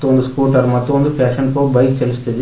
ಒಂದು ಸ್ಕೂಟರ್ ಮತ್ತು ಒಂದು ಪ್ಯಾಷನ್ ಪ್ರೋ ಬೈಕ್ ಚಲಿಸುತ್ತಿದೆ.